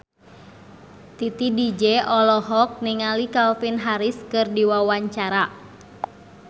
Titi DJ olohok ningali Calvin Harris keur diwawancara